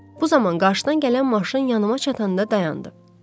Bu zaman qarşıdan gələn maşın yanıma çatanda dayandı.